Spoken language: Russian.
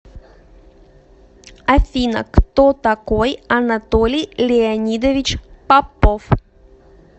афина кто такой анатолий леонидович попов